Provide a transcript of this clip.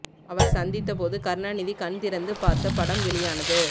அவர் சந்தித்த போது கருணாநிதி கண் திறந்து பார்த்த படம் வெளியானது